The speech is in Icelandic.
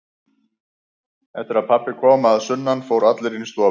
Eftir að pabbi kom að sunnan fóru allir inn í stofu.